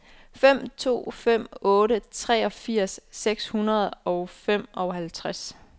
fem to fem otte treogfirs seks hundrede og femoghalvtreds